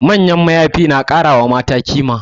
Manyan mayafi na kara wa mata kima